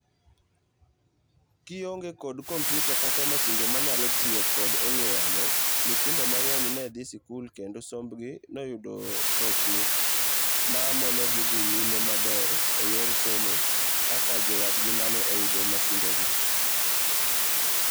Kionge kod kompiuta kata masinde manyalo tiyo kod ong'ue yamo,,nyithindo mang'eny ne dhi sikul kendo sombgi noyudo rochni manomonogi dhi nyime maber eyor somo kaka jowadgi mane oyudo masindegi.